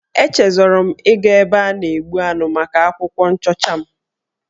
Echezọrọ m ịga ebe a na-egbu anụ maka akwụkwọ nchọcha m.